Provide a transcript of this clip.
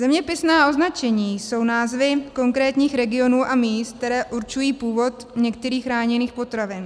Zeměpisná označení jsou názvy konkrétních regionů a míst, které určují původ některých chráněných potravin.